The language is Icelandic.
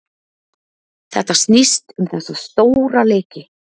Þetta snýst um þessa stóra leiki.